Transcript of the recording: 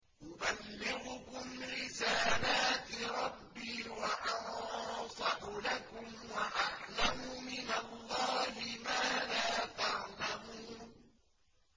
أُبَلِّغُكُمْ رِسَالَاتِ رَبِّي وَأَنصَحُ لَكُمْ وَأَعْلَمُ مِنَ اللَّهِ مَا لَا تَعْلَمُونَ